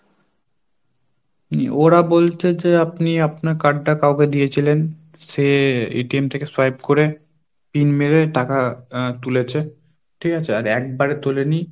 উম ওরা বলছে যে আপনি আপনার কার্ডটা কাউকে দিয়েছিলেন সে থেকে swipe করে PIN মেরে টাকা আহ তুলেছে ঠিক আছে? আর একবারে তোলেনি।